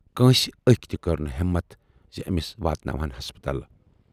کٲنسہِ ٲکۍ تہِ کٔر نہٕ ہٮ۪متھ زِ ٲمِس واتناوہَن ہسپتال۔